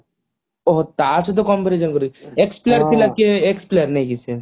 ଓଃ ହୋ ତା ସହିତ compare କରିକି ex player ex player ନାଇଁ କି ସେ